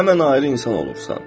Həmin ayrı insan olursan.